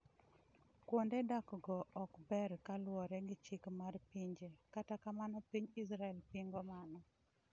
Kuonde dak go ok ber kaluwore gi chik mar pinje, kata kamano piny israel pingo mano